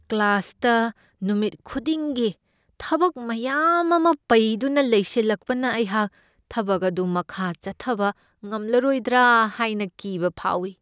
ꯀ꯭ꯂꯥꯁꯇ ꯅꯨꯃꯤꯠ ꯈꯨꯗꯤꯡꯒꯤ ꯊꯕꯛ ꯃꯌꯥꯝ ꯑꯃ ꯄꯩꯗꯨꯅ ꯂꯩꯁꯤꯜꯂꯛꯄꯅ ꯑꯩꯍꯥꯛ ꯊꯕꯛ ꯑꯗꯨ ꯃꯈꯥ ꯆꯠꯊꯕ ꯉꯝꯂꯔꯣꯏꯗ꯭ꯔꯥ ꯍꯥꯏꯅ ꯀꯤꯕ ꯐꯥꯎꯢ ꯫